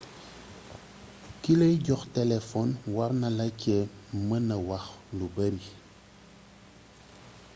kilay jox téléfon warnala cé meenee wax lu bari